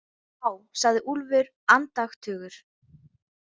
Vá, sagði Úlfur andaktugur.